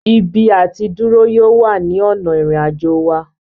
Ibi àtidúró yóò wà ní ònà ìrìn àjò wa